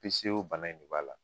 bana in de b'a la.